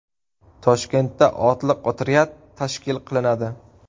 Toshkentda otliq otryad tashkil qilinadi.